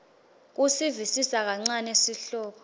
kusivisisa kancane sihloko